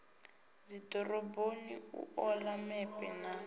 dzidoroboni u ola mepe na